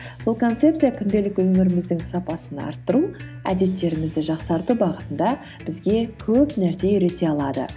бұл концепция күнделікті өміріміздің сапасын арттыру әдеттерімізді жақсарту бағытында бізге көп нәрсе үйрете алады